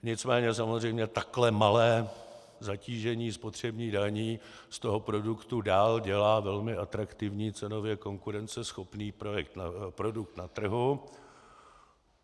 Nicméně samozřejmě takhle malé zatížení spotřební daní z toho produktu dál dělá velmi atraktivní, cenově konkurenceschopný produkt na trhu.